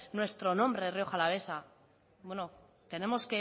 nuestro nombre rioja alavesa bueno tenemos